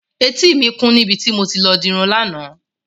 Etí mi kún níbi tí mo ti lọ dirun lánàá.